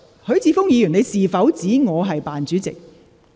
許智峯議員，你是否指我"扮主席"？